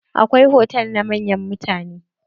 Akwai hotal na manyan mutane.